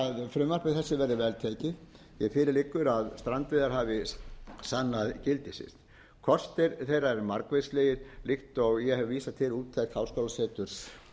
frumvarpi þessu verði vel tekið fyrir liggur að strandveiðar hafi sannað gildi sitt kostir þeirra eru margvíslegir líkt og ég hef vísað til úttekt háskólaseturs